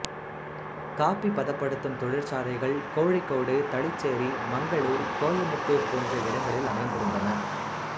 copy பதப்படுத்தும் தொழிற்சாலைகள் கோழிக்கோடு தளிச்சேரி மங்களூர் கோயமுத்தூர் போன்ற இடங்களில் அமைந்திருந்தன